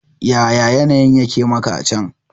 Yaya yanayin yake maka a can?